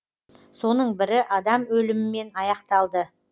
соның бірі адам өлімімен аяқталды